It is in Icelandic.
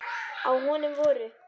Á honum voru